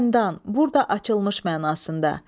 Xəndan, burada açılmış mənasında.